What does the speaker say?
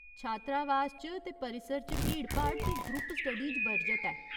छात्रावास च ते परिसर च भीड़भाड़ ते ग्रुप स्टडीज बरजत ऐ।